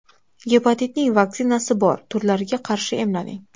Gepatitning vaksinasi bor turlariga qarshi emlaning.